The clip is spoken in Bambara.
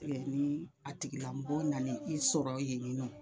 Ɛ ni a tigilamɔgɔ nana i sɔrɔ yen ni nɔ